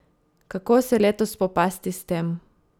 Kako se letos spopasti s tem?